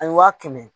A ye waa kɛmɛ